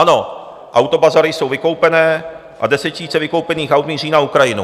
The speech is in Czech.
Ano, autobazary jsou vykoupené a desetitisíce vykoupených aut míří na Ukrajinu.